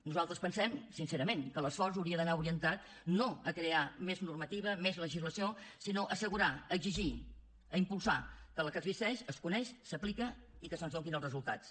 nosaltres pensem sincerament que l’esforç hauria d’anar orientat no a crear més normativa més legislació sinó a assegurar a exigir a impulsar que la que existeix es coneix s’aplica i que se’ns en donin els resultats